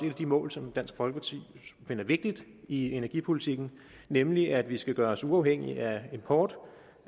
af de mål som dansk folkeparti finder vigtigt i energipolitikken nemlig at vi skal gøre os uafhængige af import